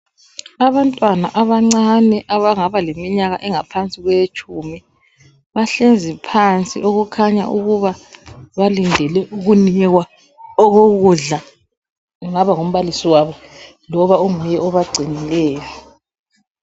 Abantwana abancane abangaba leminyaka engaphansi kwetshumi bahlezi phansi okukhanya ukuba balindele ukunikwa okokudla engaba ngumbalisi wabo loba onguye obagcinileyo.